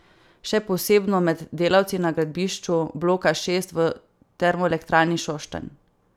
Še posebno med delavci na gradbišču bloka šest v Termoelektrarni Šoštanj.